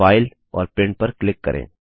file और print पर click करें